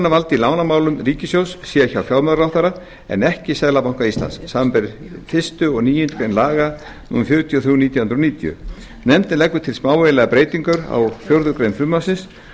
að ákvörðunarvald í lánamálum ríkissjóðs sé hjá fjármálaráðherra en ekki seðlabanka íslands samanber fyrstu og níundu grein laga númer fjörutíu og þrjú nítján hundruð níutíu nefndin leggur til smávægilega breytingu á fjórðu grein frumvarpsins